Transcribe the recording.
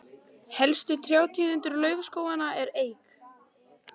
helstu trjátegundir laufskóganna eru eik